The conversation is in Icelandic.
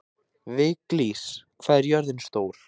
Viglís, hvað er jörðin stór?